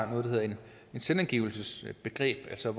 hedder et selvangivelsesbegreb altså